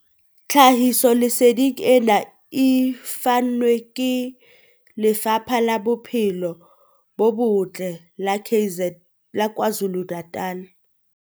Tlhahisoleseding ena e fanwe ke Lefapha la Bophelo bo Botle la KwaZulu-Natal.